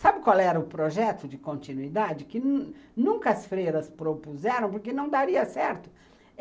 Sabe qual era o projeto de continuidade que nunca as freiras propuseram, porque não daria certo?